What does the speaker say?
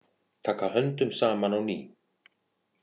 Taka höndum saman á ný